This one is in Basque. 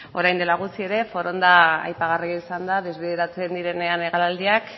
orain dela gutxi ere foronda aipagarria izan da desbideratzen direnean hegaldiak